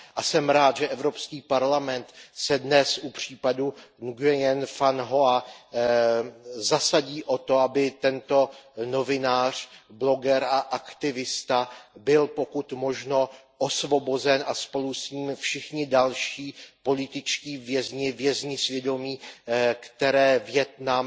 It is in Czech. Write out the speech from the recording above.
Jsem rád, že Evropský parlament se dnes u případu Nguyena Van Hoy zasadí o to, aby tento novinář, bloger a aktivista byl pokud možno osvobozen a spolu s ním všichni další političtí vězni, vězni svědomí, které Vietnam,